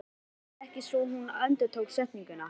Hann hreyfði sig ekki svo hún endurtók setninguna.